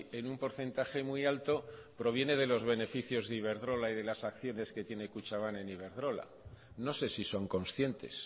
en un porcentaje muy alto proviene de los beneficios de iberdrola y de las acciones que tiene kutxabank en iberdrola no sé si son conscientes